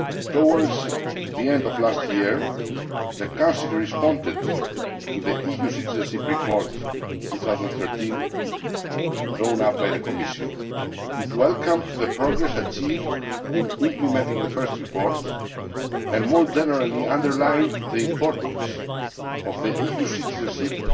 Towards the end of last year, the Council responded to the EU citizenship report 2013 drawn up by the Commission. It welcomed the progress achieved in implementing the first report and, more generally, underlined the importance of EU citizenship